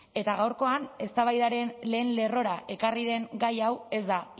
eta gaurkoan eztabaidaren lehen lerrora ekarri den gai hau ez da